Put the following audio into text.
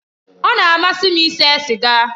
Ọ na-amasị m ise siga